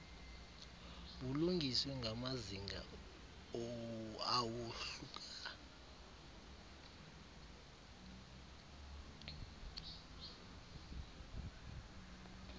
bulungiswe ngamazinga awohluka